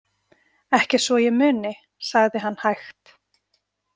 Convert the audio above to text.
Ekki svo að ég muni, sagði hann hægt.